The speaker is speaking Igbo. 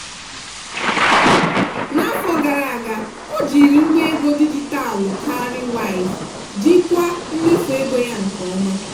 n'afọ gara aga o jiri ngwa ego dijitalụ cowrywise jikwaa mmefu ego ya nke ọma.